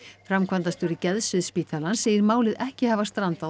framkvæmdastjóri geðsviðs spítalans segir málið ekki hafa strandað